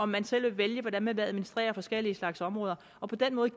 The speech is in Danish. man selv kan vælge hvordan man vil administrere forskellige slags områder og på den måde